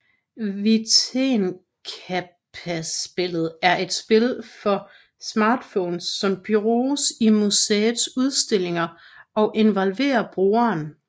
Vitenskapsspillet er et spil for smartphones som bruges i museets udstillinger og involverer brugeren